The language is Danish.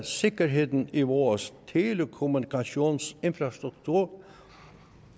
sikkerheden i vores telekommunikationsinfrastruktur